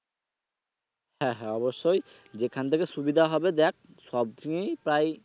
হ্যা হ্যা অবশ্যই যেখান থেকে সুবিধা হবে দেখ সব জিনিস প্রায়।